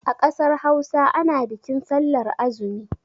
A ƙasar Hausa ana bikin sallar azumi.